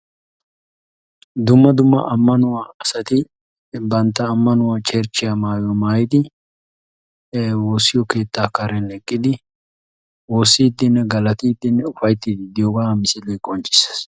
Dumma dumma ammanuwaa asati banttaa ammanuwaa cherchchiya maayuwaa maayyidi woossiyo keettaa karen eqqidi woossidinne galatidi uffayttide diyooga misilee qonccissees.